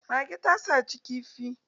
Mage na ta saci kifi.